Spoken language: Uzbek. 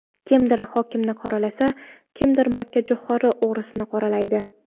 Kimdir hokimni qoralasa, kimdir makkajo‘xori o‘g‘risini qoralaydi.